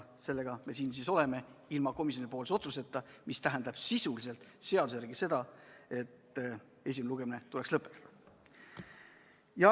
Nii me siin siis nüüd oleme, ilma komisjoni otsuseta, mis seaduse järgi tähendab sisuliselt seda, et esimene lugemine tuleks lõpetada.